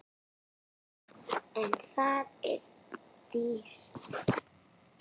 En það er dýrt.